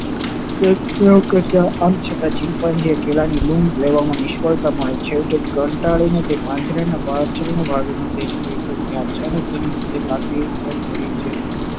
આમ છતા chimpanzee ને કેળા ની લૂમ લેવામાં નિષ્ફળતા મળે છે અને કંટાળી ને પાંજરા ના પાછળ ના ભાગ માં જોવે છે અને તેની નજર લાકડી ઉપર પડે છે